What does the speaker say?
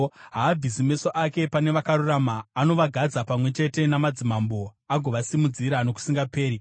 Haabvisi meso ake pane vakarurama; anovagadza pamwe chete namadzimambo uye anovasimudzira nokusingaperi.